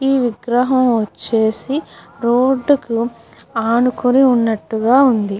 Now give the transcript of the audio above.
ఈ విగ్రహం వచ్చేసి రోడ్ కు ఆనుకోని ఉన్నట్టుగా వుంది.